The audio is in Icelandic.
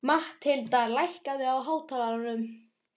Mathilda, lækkaðu í hátalaranum.